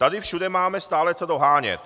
Tady všude máme stále co dohánět.